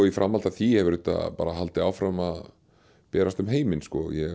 í framhaldi af því hefur þetta haldið áfram að berast um heiminn